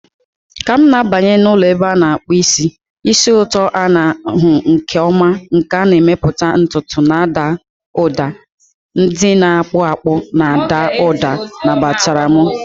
Ka m na-abanye n'ụlọ ebe a na-akpụ isi, ísì ụtọ a na-ahụ nke ọma nke a na-emepụta ntutu na ụda ndị na-akpụ akpụ na-ada ụda nabatara m.